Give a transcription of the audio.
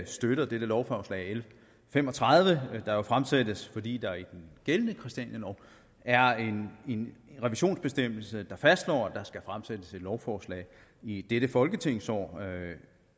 støtter dette lovforslag l fem og tredive der jo fremsættes fordi der i den gældende christianialov er en revisionsbestemmelse der fastslår at der skal fremsættes et lovforslag i dette folketingsår